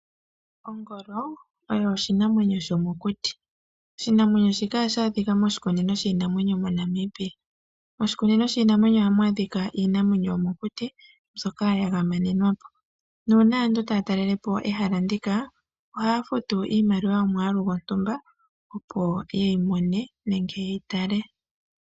Ongolo oyo oshinamwenyo shomokuti, oshinamwenyo shika ohashi adhika moshikunino shiinamwenyo moNamibia. Moshikunino shiinamwenyo ohamu adhika iinamwenyo yomo kuti mbyoka ya gamenwa nuuna aantu taya talelepo ehala ndika ohaya futu iimaliwa yomwalu gontumba opo yeyi mone nenge yeyi tale.